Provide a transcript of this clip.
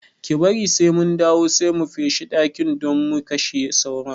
Ki bari sai mun dawo sai mu feshe dakin don mu kashe sauron